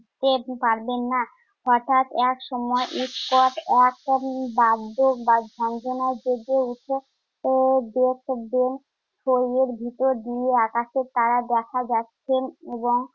টেরটি পারবেন না। হঠাৎ একসময় উৎকট এক বাদ্য বা ঝনঝনায়, জেগে উঠে আহ চেয়ে দেখবেন ছইয়ের ভেতর দিয়ে আকাশের তারা দেখা যাচ্ছে এবং